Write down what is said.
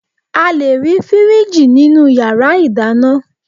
A lè fí fìríìjì nínú yàrá ìdáná